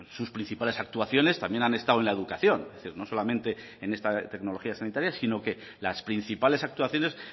sus principales actuaciones también han estado en la educación es decir no solamente en esta tecnología sanitaria sino que las principales actuaciones